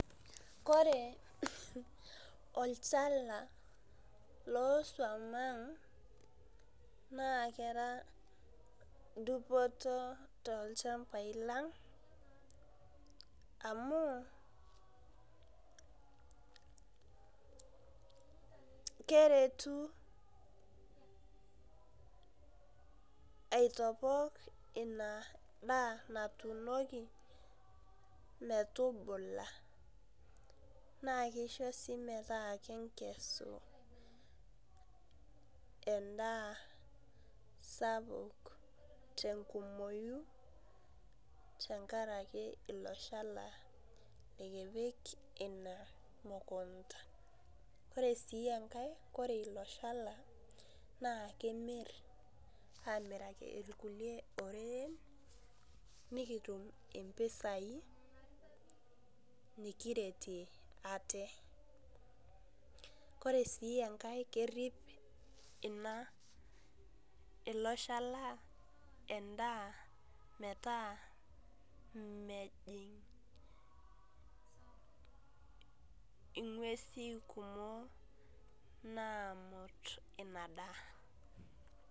Kore olchala losuam ang', naa kera dupoto tolchambai lang', amu, keretu aitopok inadaa natuunoki metubula. Na kisho si metaa kinkesu endaa sapuk tenkumoyu, tenkaraki ilo shala likipik ina mukunda. Kore si enkae, kore ilo shala naa kimir, amiraki irkulie oreren, nikitum impisai nikiretie ate. Kore si enkae kerrip ina ilo shala endaa metaa mejing' ing'uesi kumok, naamut inadaa.